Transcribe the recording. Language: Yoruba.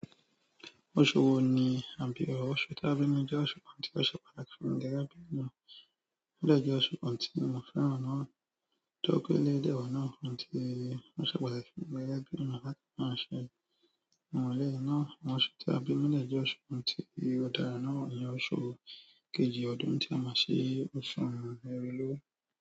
Oṣù wo ni a bí ọ, oṣù tí a bí mi jẹ́ oṣù ǹkan tí ó ṣe pàtàkì sí mi gẹ́gẹ́ bí ènìyàn, ó dẹ̀ jẹ́ oṣù kan tí mo fẹ́ràn náà. Tó jẹ́ pé lé lẹ́wa náà tí ó ṣe pàtàkì fún mi gẹ́gẹ́ bí ènìyàn náà láti máa ṣe ìmùlẹ̀ náà. Ọ̀ṣù ta bí ní lè jẹ́ oṣù kan tí ó dára náà ni oṣù kejì ọdún tí a máa ṣe Òṣùn erelé.